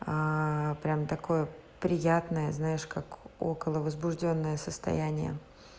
прямо такое приятное знаешь как около возбуждённое состояние